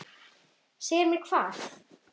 Segja mér hvað?